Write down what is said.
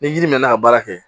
Ni yiri mɛnna ka baara kɛ